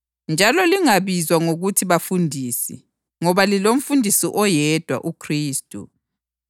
Njalo lingabizwa ngokuthi bafundisi, ngoba liloMfundisi oyedwa, uKhristu.